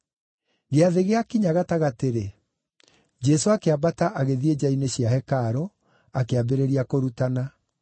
Gĩathĩ gĩakinya gatagatĩ-rĩ, Jesũ akĩambata agĩthiĩ nja-inĩ cia hekarũ, akĩambĩrĩria kũrutana.